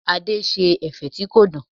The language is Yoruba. Adé ṣe ẹ̀fẹ̀ tí kò dùn.